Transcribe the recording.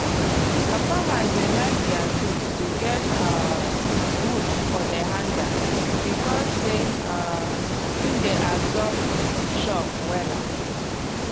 some farmers dey like dier tools to get um wood for de hander becos say um e dey absorb shock wela.